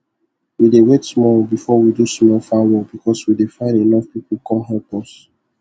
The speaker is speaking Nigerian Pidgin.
we dey wait small before we do some farm work because we dey find enough people con help us